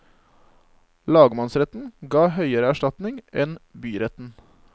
Lagmannsretten ga høyere erstatning enn byretten.